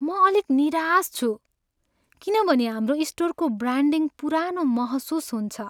म अलिक निराश छु किनभने हाम्रो स्टोरको ब्रान्डिङ पुरानो महसुस हुन्छ।